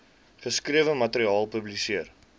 geskrewe materiaal publiseer